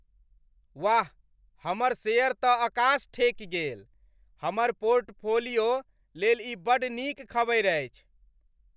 वाह, हमर शेयर तँ अकास ठेकि गेल! हमर पोर्टफोलियो लेल ई बड़ नीक खबरि अछि।